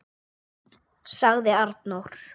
sagði Arnór.